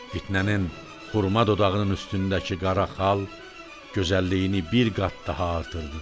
Fitnənin xurma dodağının üstündəki qara xal gözəlliyini bir qat daha artırdı.